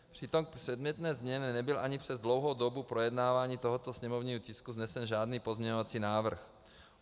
Přitom k předmětné změně nebyl ani přes dlouhou dobu projednávání tohoto sněmovního tisku vznesen žádný pozměňovací návrh.